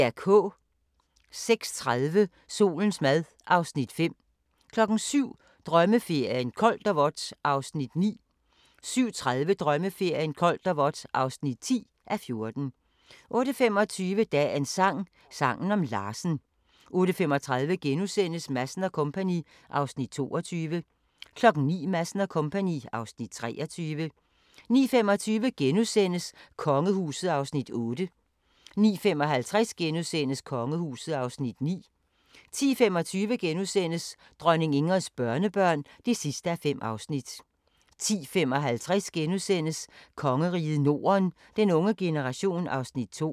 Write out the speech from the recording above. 06:30: Solens mad (Afs. 5) 07:00: Drømmeferien: Koldt og vådt (9:14) 07:30: Drømmeferien: Koldt og vådt (10:14) 08:25: Dagens sang: Sangen om Larsen 08:35: Madsen & Co. (Afs. 22)* 09:00: Madsen & Co. (Afs. 23) 09:25: Kongehuset (Afs. 8)* 09:55: Kongehuset (Afs. 9)* 10:25: Dronning Ingrids børnebørn (5:5)* 10:55: Kongeriget Norden - den unge generation (Afs. 2)*